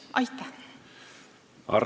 Aitäh!